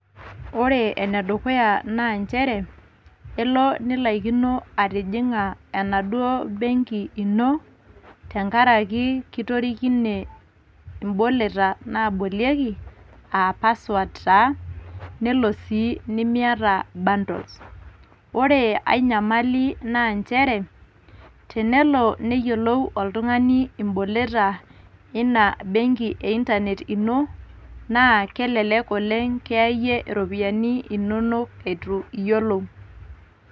Ore ene dukuya naa nchere elo nilaikino atijing'a enaduoo benki ino, tenkaraki kitorikine imboleta naabolieki aa pasword taa nelo sii nimiata bundles. Ore ai nyamali naa nchere, tenelo neyiolou oltung'ani imboleta ina benki e intanet ino naa kelelek oleng' kiyaaie iropiyiani inonok itu iyiolou.